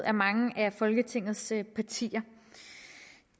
af mange af folketingets partier